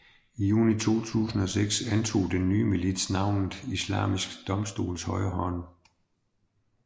I juni 2006 antog den nye milits navnet Islamiske domstoles højeste råd